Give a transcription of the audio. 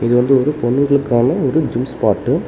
இது வந்து ஒரு பொண்ணுங்களுக்கான ஒரு ஜிம் ஸ்பாட்டு .